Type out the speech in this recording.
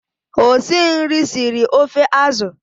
Osinri siri ofe azụ.